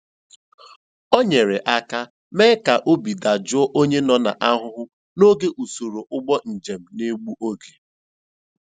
O nyere aka mee ka obi dajụọ onye nọ n'ahụhụ n'oge usoro ụgbọ njem na-egbu oge.